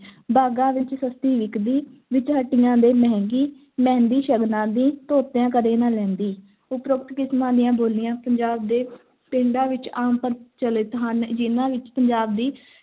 ਬਾਗ਼ਾਂ ਵਿੱਚ ਸਸਤੀ ਵਿਕਦੀ, ਵਿੱਚ ਹੱਟੀਆਂ ਦੇ ਮਹਿੰਗੀ, ਮਹਿੰਦੀ ਸ਼ਗਨਾਂ ਦੀ ਧੋਤਿਆਂ ਕਦੇ ਨਾ ਲਹਿੰਦੀ, ਉਪਰੋਕਤ ਕਿਸਮਾਂ ਦੀਆਂ ਬੋਲੀਆਂ ਪੰਜਾਬ ਦੇ ਪਿੰਡਾਂ ਵਿੱਚ ਆਮ ਪ੍ਰਚਲਿਤ ਹਨ ਜਿਨ੍ਹਾਂ ਵਿੱਚ ਪੰਜਾਬ ਦੀ